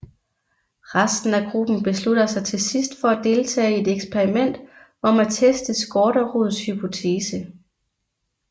Resten af gruppen beslutter sig til sidst for at deltage i et eksperiment om at teste Skårderuds hypotese